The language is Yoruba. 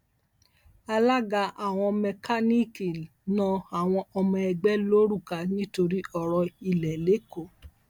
alága àwọn mẹkáníìkì na àwọn ọmọ ẹgbẹ lóruká nítorí ọrọ ilé lẹkọọ